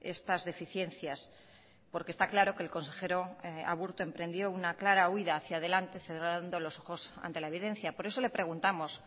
estas deficiencias porque está claro que el consejero aburto emprendió una clara huida hacia delante cerrando los ojos ante la evidencia por eso le preguntamos